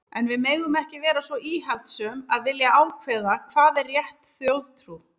En við megum ekki vera svo íhaldssöm að vilja ákveða hvað er rétt þjóðtrú.